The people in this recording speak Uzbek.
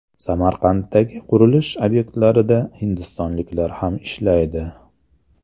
Samarqanddagi qurilish obyektlarida hindistonliklar ham ishlaydi.